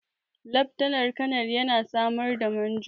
Laftanar kanar yana sama da Manjo.